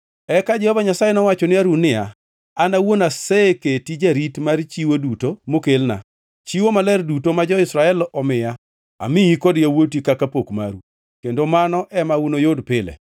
Eka Jehova Nyasaye nowacho ne Harun niya, “An awuon aseketi jarit mar chiwo duto mokelna; chiwo maler duto ma jo-Israel omiya amiyi kod yawuoti kaka pok maru kendo mano ema unuyud pile.